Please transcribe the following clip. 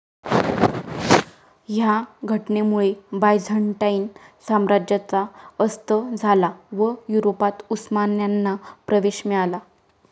ह्या घटनेमुळे बायझंटाईन साम्राज्याचा अस्त झाला व युरोपात उस्मान्यांना प्रवेश मिळाला.